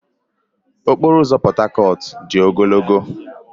Ụzọ okporo ụzọ Portharcourt-A dị ogologo.